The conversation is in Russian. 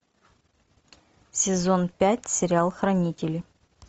сезон пять сериал хранители